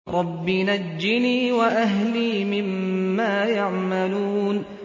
رَبِّ نَجِّنِي وَأَهْلِي مِمَّا يَعْمَلُونَ